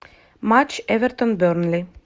матч эвертон бернли